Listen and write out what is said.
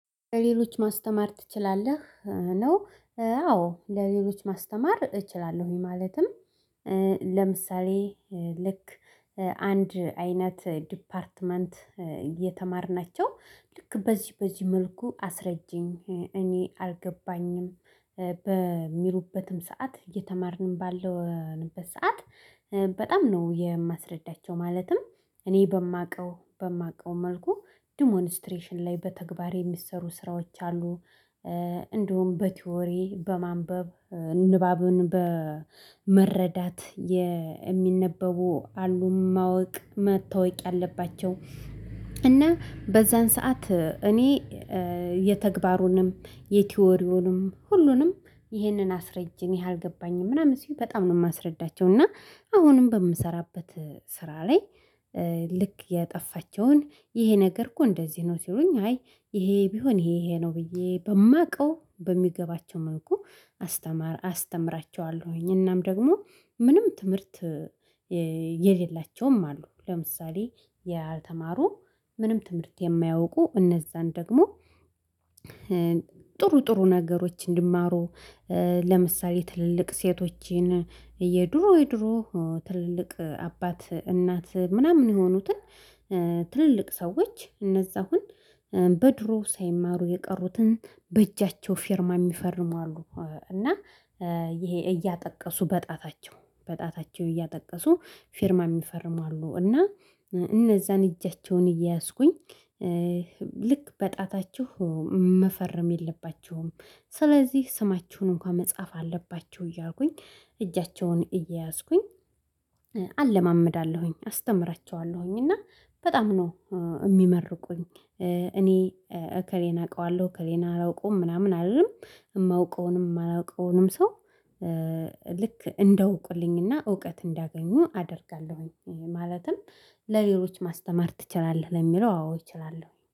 "ሌሎች ማስተማር ትችላለህ?" ነው አዎ፣ ለሌሎች ማስተማር እችላለሁኝ። ማለትም ለምሳሌ ልክ አንድ አይነት ዲፓርትመንት እየተማርናቸው ልክ በዚህ በዚህ መልኩ አስረጂኝ እኔ አልገባኝም በሚሉበትም ሰዓት እየተማርንም ባለንበት ሰዓት በጣም ነው የማስረዳቸው ማለትም እኔ በማውቀው በማውቀው መልኩ ዲሞንስትሬሽን ላይ በተግባር የሚሰሩ ስራዎች አሉ እንዲሁም በቲዎሪ በማንበብ ንባብን በመረዳት የሚነበቡ አሉ ማወቅ መታወቅ ያለባቸው፤ እና በዛን ሰዓት እኔ የተግባሩንም የቲዎሪውንም ሁሉንም ይህንን አስረጂኝ አልገባኝም ምናምን ሲሉ በጣም ነው የማስረዳቸው፤ እና አሁንም በምሰራበት ስራ ላይ ልክ የጠፋቸውን ይሄ ነገር እኮ እንደዚህ ነው ሲሉኝ አይ ይሄ ቢሆን ይሄ ይሄ ነው ብዬ በማውቀው በሚገባቸው መልኩ አስተማ አስተምራቸዋለሁኝ፤ እናም ደግሞ ምንም ትምህርት የሌላቸውም አሉ። ለምሳሌ ያልተማሩ ምንም ትምህርት የማያውቁ እነዛን ደግሞ ጥሩ ጥሩ ነገሮች እንዲማሩ ለምሳሌ ትልልቅ ሴቶችን የድሮ የድሮ ትልልቅ አባት እናት ምናምን የሆኑትን ትልልቅ ሰዎች እነዛ አሁን በድሮ ሳይማሩ የቀሩትን በእጃቸው ፊርማ የሚፈርሙ አሉ፤ እና ይሄ እያጠቀሱ በጣታቸው በጣታቸው እያጠቀሱ ፊርማ የሚፈርም አሉ፤ እና እነዛን እጃቸውን እየያዝኩኝ ልክ በጣታችሁ መፈረም የለባችሁም ስለዚህ ስማችሁን እንኳን መጻፍ አለባችሁ እያልኩኝ እጃቸውን እየያዝኩኝ አለማምዳለሁኝ፣ አስተምራቸዋለሁኝ እና በጣም ነው የሚመርቁኝ። እኔ እከሌን አውቀዋለሁ እከሌን አላውቀውም ምናምን አልልም። የማውቀውንም የማላውቀውንም ሰው ልክ እንዲያውቁልኝና እውቀት እንዲያገኙ አደርጋለሁኝ። ማለትም ለሌሎች ማስተማር ትችላለህ ለሚለው አዎ እችላለሁኝ።